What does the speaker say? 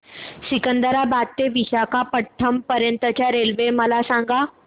सिकंदराबाद ते विशाखापट्टणम पर्यंत च्या रेल्वे मला सांगा